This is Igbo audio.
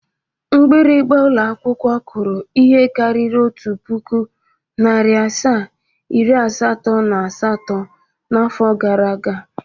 Mgbịrịga ụlọakwụkwọ kụrụ ihe karịrị otu pụkụ, narị asaa, iri asatọ na asatọ n'afọ gara aga.